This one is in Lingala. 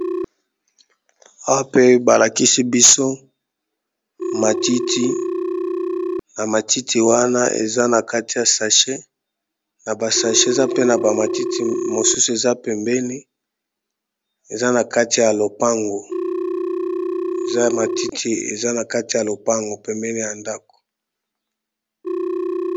Awa pe balakisi biso matiti na matiti wana eza na kati ya sache na ba sache eza pe na ba matiti mosusu eza pembeni eza na kati ya lopango eza matiti eza na kati ya lopango pembeni ya ndako.